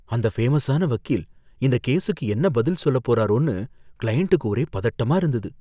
அந்த ஃபேமஸான வக்கீல் இந்த கேஸுக்கு என்ன பதில் சொல்லப் போறாரோன்னு கிளையண்டுக்கு ஒரே பதட்டமா இருந்தது.